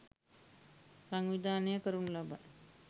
සංවිධානය කරනු ලබයි.